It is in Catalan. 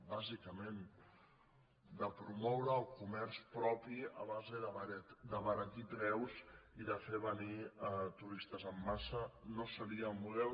bàsicament de promoure el comerç propi a base d’abaratir preus i de fer venir turistes en massa no seria el model